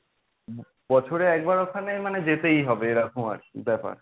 বছরে একবার ওখানে মানে যেতেই হবে এরকম আর কি ব্যাপার।